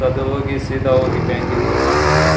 ಅದು ಹೋಗಿ ಸೀದಾ ಹೋಗಿ ಬ್ಯಾಂಕಿಗೆ ಜಮಾ ಆಗ್ತಾತೆ .